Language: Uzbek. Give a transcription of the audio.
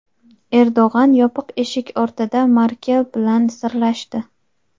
Erdo‘g‘an yopiq eshik ortida Merkel bilan "sirlashdi".